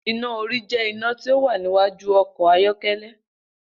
Iná orí jẹ́ iná tí ó wà níwájú ọkọ̀ ayọ́kẹ́lẹ́.